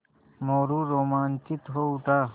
मोरू रोमांचित हो उठा